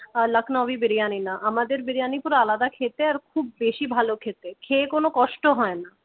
লখনৌই বিরিয়ানি না আর আমাদের বিরিয়ানি পুরো আলাদা খেতে খুব বেশি ভালো খেতে খেয়ে কোন কষ্ট হয় না।